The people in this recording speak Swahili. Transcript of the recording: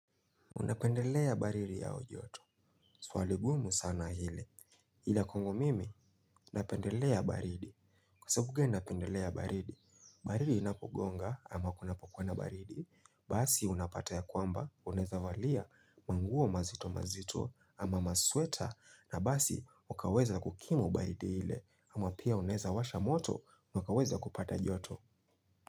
Unapendelea baridi au joto. Swali ngumu sana hili. Ila kwangu mimi, napendelea baridi. Kwa sababu gani napendelea baridi. Baridi inapogonga ama kunapokuwa na baridi. Basi unapata ya kwamba, unaweza valia, manguo mazito mazito ama masweta. Na basi, ukaweza kukimu baridi ile ama pia unaweza washa moto, ukaweza kupata joto.